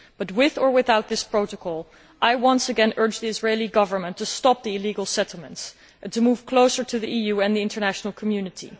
However, with or without this protocol, I once again urge the Israeli Government to stop the illegal settlements and to move closer to the EU and the international community.